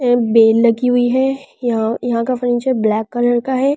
Bell लगी हुई है यहां यहां का फर्निचर ब्लैक कलर का है ।